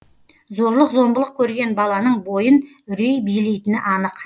зорлық зомбылық көрген баланың бойын үрей билейтіні анық